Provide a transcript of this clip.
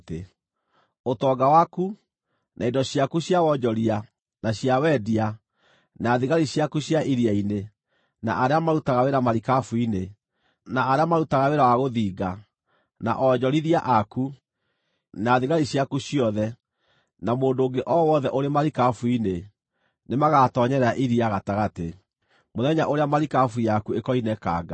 Ũtonga waku, na indo ciaku cia wonjoria, na cia wendia, na thigari ciaku cia iria-inĩ, na arĩa marutaga wĩra marikabu-inĩ, na arĩa marutaga wĩra wa gũthinga, na onjorithia aku, na thigari ciaku ciothe, na mũndũ ũngĩ o wothe ũrĩ marikabu-inĩ, nĩmagatoonyerera iria gatagatĩ mũthenya ũrĩa marikabu yaku ĩkoinĩkanga.